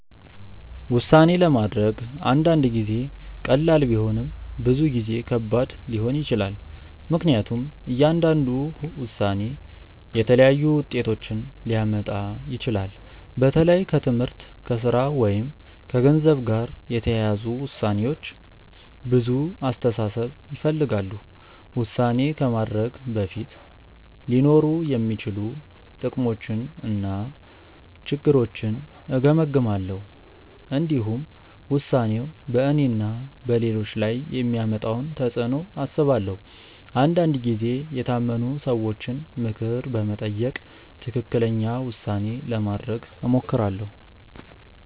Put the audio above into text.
ውሳኔ ማድረግ አንዳንድ ጊዜ ቀላል ቢሆንም ብዙ ጊዜ ከባድ ሊሆን ይችላል። ምክንያቱም እያንዳንዱ ውሳኔ የተለያዩ ውጤቶችን ሊያመጣ ይችላል። በተለይ ከትምህርት፣ ከሥራ ወይም ከገንዘብ ጋር የተያያዙ ውሳኔዎች ብዙ አስተሳሰብ ይፈልጋሉ። ውሳኔ ከማድረጌ በፊት ሊኖሩ የሚችሉ ጥቅሞችንና ችግሮችን እገመግማለሁ። እንዲሁም ውሳኔው በእኔና በሌሎች ላይ የሚያመጣውን ተፅዕኖ አስባለሁ። አንዳንድ ጊዜ የታመኑ ሰዎችን ምክር በመጠየቅ ትክክለኛ ውሳኔ ለማድረግ እሞክራለሁ.